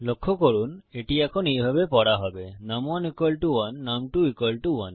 লক্ষ্য করুন এটি এখন এইভাবে পড়া হবে নুম1 1 নুম2 1